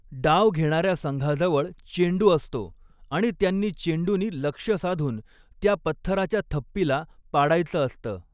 डाव घेणार्या संघाजवळ चेंडु असतो आणि त्यांनी चेंडुनी लक्ष्य साधून त्या पत्थराच्या थप्पीला पाडायच असत.